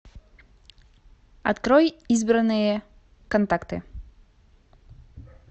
открой избранные контакты